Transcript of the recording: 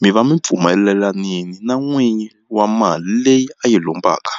mi va mi pfumelelanini na n'winyi wa mali leyi a yi lombaka.